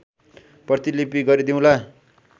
प्रतिलिपि गरिदिउँला